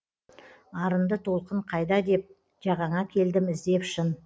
арынды толқын қайда деп жағаңа келдім іздеп шын